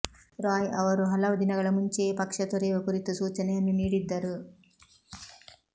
ರಾಯ್ ಅವರು ಹಲವು ದಿನಗಳ ಮುಂಚೆಯೇ ಪಕ್ಷ ತೊರೆಯುವ ಕುರಿತು ಸೂಚನೆಯನ್ನು ನೀಡಿದ್ದರು